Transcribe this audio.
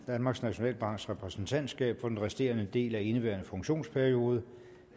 danmarks nationalbanks repræsentantskab for den resterende del af indeværende funktionsperiode